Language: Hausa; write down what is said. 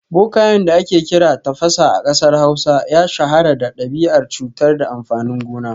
Bokayen da ake kira Tafasa a kasar Hausa ya shahara da dabi’ar cutar da amfanin gona